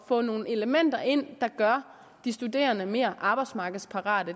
få nogle elementer ind der gør de studerende mere arbejdsmarkedsparate